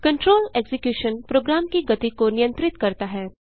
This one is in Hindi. कंट्रोल एक्जिक्यूशन प्रोग्राम की गति को नियंत्रित करता है